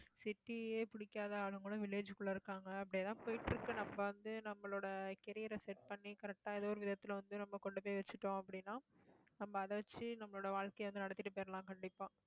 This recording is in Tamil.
city ஏ பிடிக்காத ஆளுங்களும், village க்குள்ள இருக்காங்க. அப்படி எல்லாம் போயிட்டு இருக்கு. நம்ம வந்து, நம்மளோட career அ set பண்ணி correct ஆ ஏதோ ஒரு விதத்துல வந்து, நம்ம கொண்டு போய் வச்சிட்டோம் அப்படின்னா நம்ம அதை வச்சு நம்மளோட வாழ்க்கையை வந்து, நடத்திட்டு போயிரலாம் கண்டிப்பா